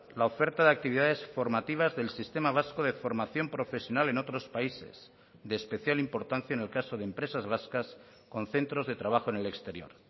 la oferta de actividades formativas del sistema vasco de formación profesional en otros países de especial importancia en el caso de empresas vascas con centros de trabajo en el exterior